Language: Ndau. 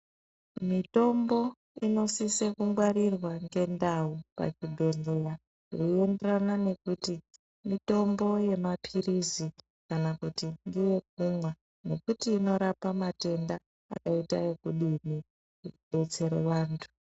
Mutombo inosisa kungwarirwa mgendau ngenguwa veienderana ngekuti mitombo yemapirizi kana kuti ndeye kumwa inorapa matenda akaita ekudinhi kudetsera antu.